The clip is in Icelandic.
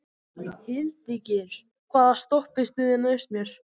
Hildigeir, hvaða stoppistöð er næst mér?